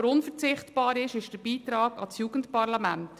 Unverzichtbar ist für uns aber der Beitrag an das Jugendparlament.